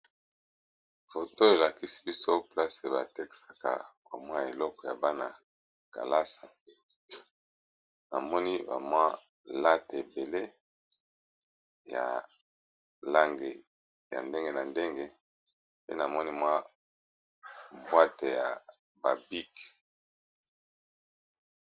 Foto elakisi biso place batekisaka bamwa biloko ya bana kelasi . Namoni bamwa late ebele ya lange ya ndenge na ndenge pe namoni mwa bwate ya babiki.